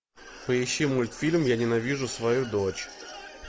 поищи мультфильм я ненавижу свою дочь